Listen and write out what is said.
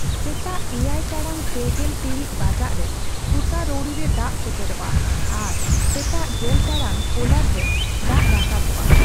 ᱥᱮᱛᱟᱜ ᱮᱭᱟᱭ ᱴᱟᱲᱟᱝ ᱯᱮᱜᱮᱞ ᱴᱤᱬᱤᱡ ᱵᱟᱡᱟᱜᱨᱮ ᱥᱩᱛᱟᱨᱳᱣᱲᱤ ᱨᱮ ᱫᱟᱜ ᱥᱮᱴᱮᱨᱚᱜᱼᱟ ᱟᱨ ᱥᱮᱛᱟᱜ ᱜᱮᱞ ᱴᱟᱲᱟᱝ ᱠᱳᱞᱟᱰ ᱨᱮ ᱫᱟᱜ ᱨᱟᱠᱟᱯᱚᱜᱼᱟ ᱾